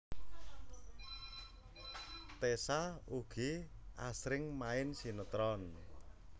Tessa ugi asring main sinetron